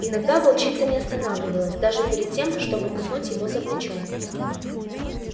иногда волчица не останавливалась даже перед тем чтобы куснуть его за плечо